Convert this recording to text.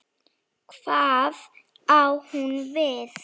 Hvað á hún við?